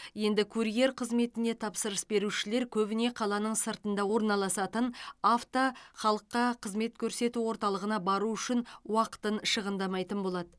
енді курьер қызметіне тапсырыс берушілер көбіне қаланың сыртында орналасатын авто халыққа қызмет көрсету орталығына бару үшін уақытын шығындамайтын болады